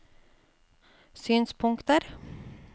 synspunkter